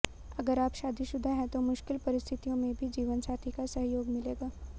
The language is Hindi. अगर आप शादीशुदा हैं तो मुश्किल परिस्थितियों में भी जीवनसाथी का सहयोग मिलेगा